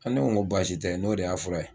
An ne ko baasi tɛ n'o de y'a fura ye